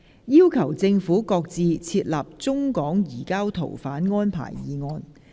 "要求政府擱置設立中港移交逃犯安排"議案。